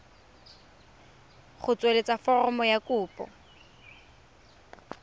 go tsweletsa foromo ya kopo